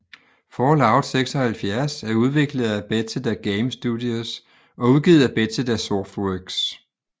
Fallout 76 er udviklet af Bethesda Game Studios og udgivet af Bethesda Softworks